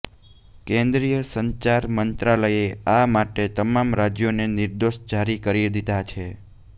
કેન્દ્રીય સંચાર મંત્રાલયે આ માટે તમામ રાજ્યોને નિર્દેશ જારી કરી દીધા છે